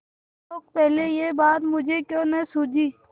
शोक पहले यह बात मुझे क्यों न सूझी